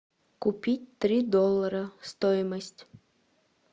купить три доллара стоимость